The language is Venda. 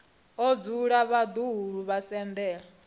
o dzula vhaḓuhulu vho sendela